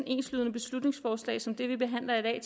enslydende beslutningsforslag som det vi behandler i